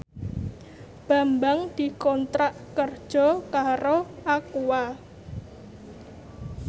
Bambang dikontrak kerja karo Aqua